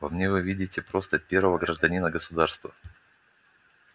во мне вы видите просто первого гражданина государства